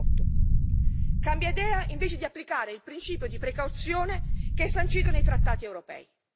2018. Cambia idea invece di applicare il principio di precauzione che è sancito nei trattati europei.